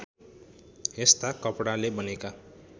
यस्ता कपडाले बनेका